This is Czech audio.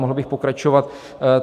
Mohl bych pokračovat.